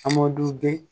Amadu bɛ